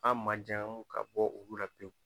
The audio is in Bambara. An majaɔn ka bɔ olu la pewu